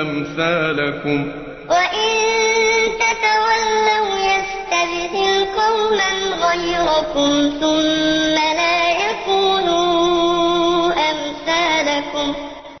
أَمْثَالَكُم هَا أَنتُمْ هَٰؤُلَاءِ تُدْعَوْنَ لِتُنفِقُوا فِي سَبِيلِ اللَّهِ فَمِنكُم مَّن يَبْخَلُ ۖ وَمَن يَبْخَلْ فَإِنَّمَا يَبْخَلُ عَن نَّفْسِهِ ۚ وَاللَّهُ الْغَنِيُّ وَأَنتُمُ الْفُقَرَاءُ ۚ وَإِن تَتَوَلَّوْا يَسْتَبْدِلْ قَوْمًا غَيْرَكُمْ ثُمَّ لَا يَكُونُوا أَمْثَالَكُم